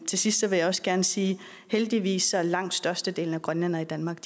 til sidst vil jeg også gerne sige heldigvis er langt størstedelen af grønlænderne i danmark